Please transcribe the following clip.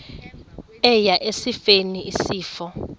eya esifeni isifo